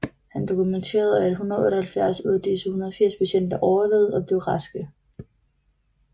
Han dokumenterede at 178 ud af disse 180 patienter overlevede og blev raske